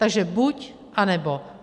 Takže buď, anebo.